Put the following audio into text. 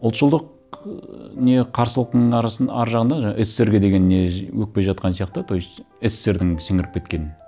ұлтшылдық ыыы не қарсылықтың ар жағында жаңа ссср ге деген не өкпе жатқан сияқты то есть ссср дің сіңіріп кеткен